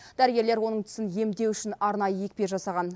дәрігерлер оның тісін емдеу үшін арнайы екпе жасаған